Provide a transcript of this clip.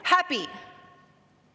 Häbi!